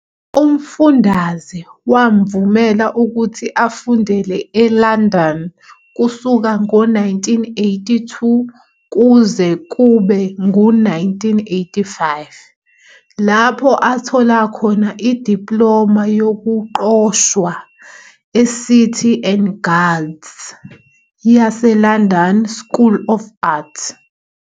Umfundaze wamvumela ukuthi afundele eLondon kusuka ngo-1982 kuze kube ngu-1985, lapho athola khona idiploma yokuqoshwa eCity and Guilds yaseLondon School of Art.